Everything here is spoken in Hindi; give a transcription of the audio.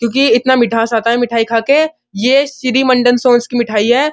क्योंकि इतना मिठास आता है मिठाई खा के। ये श्रीमंडन सॉस की मिठाई है।